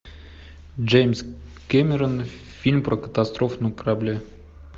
джеймс кэмерон фильм про катастрофу на корабле